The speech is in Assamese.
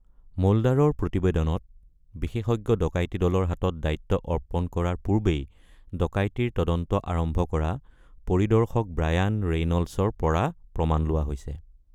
মোল্ডাৰৰ প্ৰতিবেদনত বিশেষজ্ঞ ডকাইতি দলৰ হাতত দায়িত্ব অৰ্পণ কৰাৰ পূৰ্বেই ডকাইতিৰ তদন্ত আৰম্ভ কৰা পৰিদৰ্শক ব্ৰায়ান ৰেইনল্ডছৰ পৰা প্ৰমাণ লোৱা হৈছে।